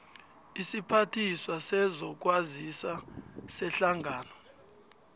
isiphathiswa sezokwazisa sehlangano